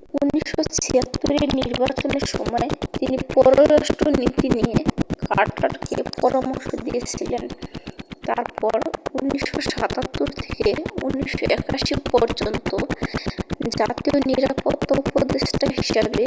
1976 এর নির্বাচনের সময় তিনি পররাষ্ট্র নীতি নিয়ে কার্টার কে পরামর্শ দিয়েছিলেন তারপর 1977 থেকে 1981 পর্যন্ত জাতীয় নিরাপত্তা উপদেষ্টা হিসাবে